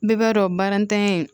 Bɛɛ b'a dɔn baara ntanya